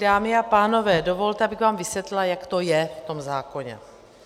Dámy a pánové, dovolte, abych vám vysvětlila, jak to je v tom zákoně.